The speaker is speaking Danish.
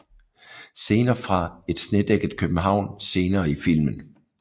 Scener fra et snedækket København senere i filmen